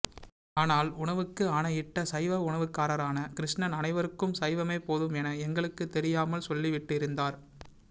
ஆனால் உணவுக்கு ஆணையிட்ட சைவ உணவுக்காரரான கிருஷ்ணன் அனைவருக்கும் சைவமே போதும் என எங்களுக்குத்தெரியாமல் சொல்லிவிட்டிருந்தார்